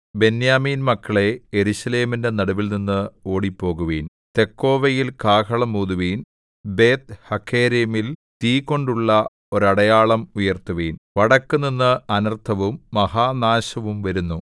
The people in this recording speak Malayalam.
ബെന്യാമീൻമക്കളേ യെരൂശലേമിന്റെ നടുവിൽനിന്ന് ഓടിപ്പോകുവിൻ തെക്കോവയിൽ കാഹളം ഊതുവിൻ ബേത്ത്ഹഖേരെമിൽ തീ കൊണ്ടുള്ള ഒരടയാളം ഉയർത്തുവിൻ വടക്കുനിന്ന് അനർത്ഥവും മഹാനാശവും വരുന്നു